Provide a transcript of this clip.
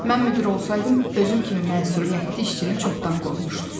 Mən müdir olsaydım, özüm kimi məsuliyyətli işçini çoxdan qovmuşdum.